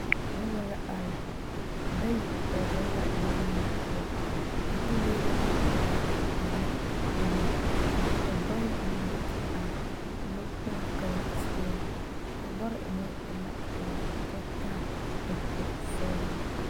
Noba la are bayi kpɛ zeŋ la lɔ lee poɔ a lɔ lee e la pelaa ane buluu ka bayi meŋ do te are lɔ kpoŋ kaŋ seɛ a lɔre meŋ e la pelaa kyɛ taa dakogi sɔglɔ.